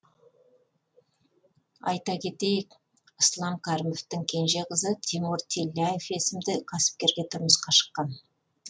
айта кетейік ислам кәрімовтің кенже қызы тимур тилляев есімді кәсіпкерге тұрмысқа шыққан